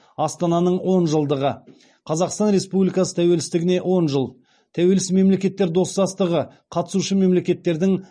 астананың он жылдығы қазақстан республикасы тәуелсіздігіне он жыл тәуелсіз мемлекеттер достастығы қатысушы мемлекеттердің